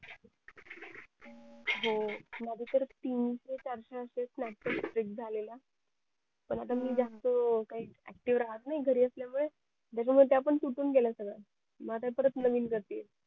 हो माझे तर तीनशे चारशे असे snapchat झालेला पण आता मी जास्त काही active राहत नाही घरी असल्यामुळे त्या पण तुटून गेल्याय सगळ्या मग आता परत नवीन करतेय